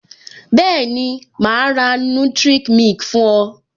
Bẹẹni, ma ra nutric milk fún o